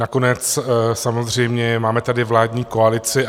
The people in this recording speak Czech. Nakonec samozřejmě máme tady vládní koalici.